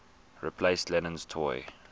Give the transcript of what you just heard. replaced lennon's toy